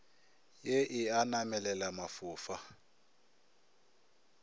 ye e a namelela mafofa